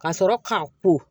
Ka sɔrɔ k'a ko